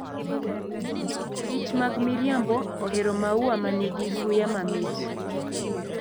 kich mag miriambo ohero maua ma nigi suya mamit.